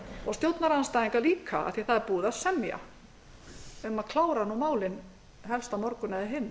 og stjórnarandstæðingar líka af því að það er búið að semja um að klára málin helst á morgun eða hinn